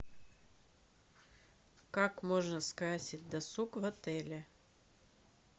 как можно скрасить досуг в отеле